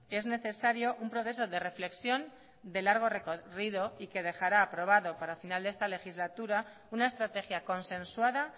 es necesario un proceso de reflexión de largo recorrido y que dejará aprobado para el final de esta legislatura una estrategia consensuada